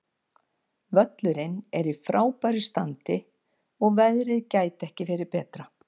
Völlurinn er í frábæru standi og veðrið gæti ekki verið betra.